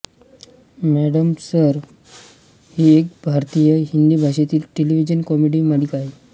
madam sir ही एक भारतीय हिंदी भाषेतील टेलिव्हिजन कॉमेडी मालिका आहे